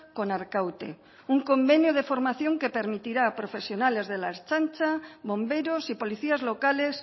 con arkaute un convenio de formación que permitirá a profesionales de la ertzaintza bomberos y policías locales